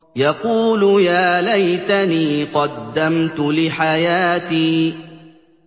يَقُولُ يَا لَيْتَنِي قَدَّمْتُ لِحَيَاتِي